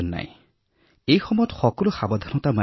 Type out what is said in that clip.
আজি আমি এইবাৰৰ কৰোনাৰ দ্বিতীয় ঢৌতো আতংকিত হব নালাগে